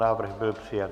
Návrh byl přijat.